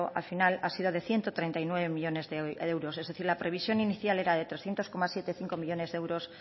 al final ha sido de ciento treinta y nueve millónes de euros es decir la previsión inicial era de trescientos siete coma cinco millónes de euros